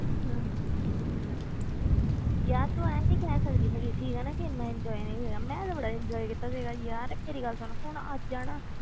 ਹਮ ਯਾਰ ਤੂੰ ਇਉਂ ਨੀ ਕਹਿ ਸਕਦੀ ਹੈਗੀ ਠੀਕ ਹੈ ਨਾ ਕਿ ਇੰਨਾ enjoy ਨਹੀਂ ਹੋਇਆ, ਮੈਂ ਤਾਂ ਬੜਾ enjoy ਕੀਤਾ ਸੀਗਾ ਯਾਰ, ਮੇਰੀ ਗੱਲ ਸੁਣ ਹੁਣ ਅੱਜ ਹੈ ਨਾ,